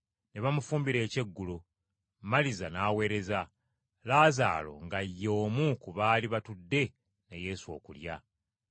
Ne bamufumbira ekyeggulo, Maliza n’aweereza, Laazaalo nga ye omu ku baali batudde ne Yesu okulya.